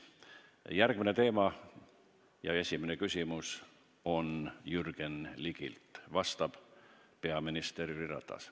Järgmine teema: esimene küsimus on Jürgen Ligilt, vastab peaminister Jüri Ratas.